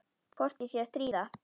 Hvort ég sé að stríða.